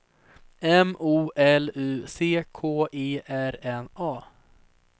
M O L U C K E R N A